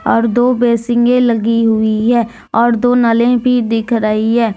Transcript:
और दो बेसिंगे में लगी हुई हैं और दो नलें भी दिख रही है।